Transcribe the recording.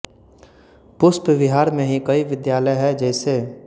पुष्प विहार में ही कई विद्यालय है जैसे